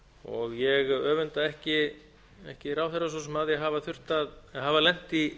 og ég öfunda ekki ráðherrann svo sem af því að hafa lent í